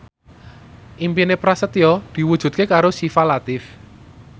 impine Prasetyo diwujudke karo Syifa Latief